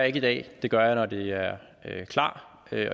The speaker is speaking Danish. ikke i dag det gør jeg når de er klar